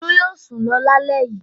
Olú yóò sùn lọ lálẹ́ yìí.